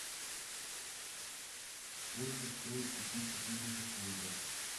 сколько стоит купить четыреста фунтов